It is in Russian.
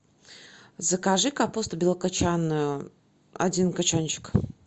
закажи капусту белокочанную один кочанчик